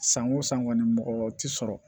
San o san kɔni mɔgɔ tɛ sɔrɔ